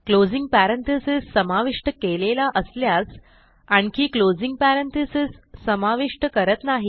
closing parenthesis समाविष्ट केलेला असल्यास आणखी क्लोजिंग पॅरेंथेसिस समाविष्ट करत नाही